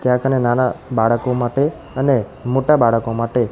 ત્યાં કને નાના બાળકો માટે અને મોટા બાળકો માટે--